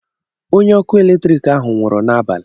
onye ọkụ eletrik ahu nwụrụ na abalị.